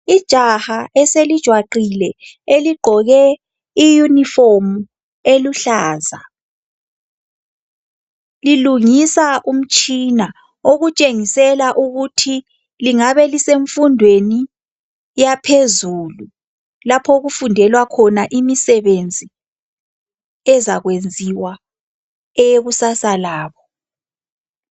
Ijaha eselijwaqile eligqoke iyunifomu eluhlaza lilungisa umtshina okutshengisela ukuthi lingabe lisemfundweni yaphezulu lapho okufundelwa khona imisebenzi ezakwenziwa eyekusasa labo.